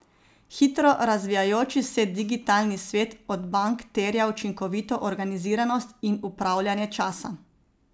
Hitro razvijajoči se digitalni svet od bank terja učinkovito organiziranost in upravljanje časa.